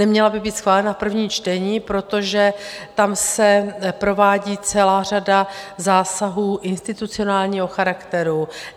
Neměla by být schválena v prvním čtení, protože tam se provádí celá řada zásahů institucionálního charakteru.